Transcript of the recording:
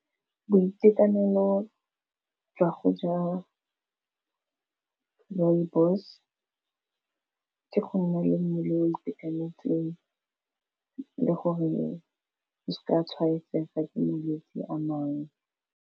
Boitekanelo jwa go ja rooibos, ke go nna le mmele o itekanetseng le gore o seka tshwaetsega ke malwetse a mangwe.